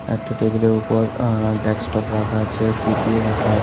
একটা টেবিলের উপর আঃ ডেস্কটপ ‌ রাখা আছে সি_পি_ইউ রাখা আ --